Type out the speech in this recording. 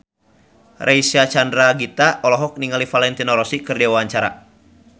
Reysa Chandragitta olohok ningali Valentino Rossi keur diwawancara